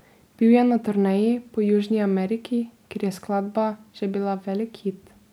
Bil je na turneji po Južni Ameriki, kjer je skladba že bila velik hit.